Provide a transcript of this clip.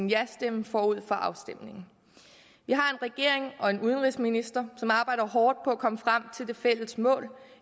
jastemme forud for afstemningen vi har en regering og en udenrigsminister som arbejder hårdt på at komme frem til det fælles mål